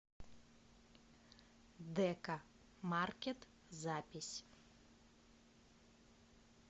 деко маркет запись